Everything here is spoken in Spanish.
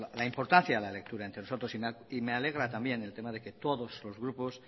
la importancia a la lectura entre y me alegra también el tener el que todos los grupos